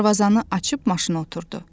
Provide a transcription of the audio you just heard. Darvazanı açıb maşını oturdu.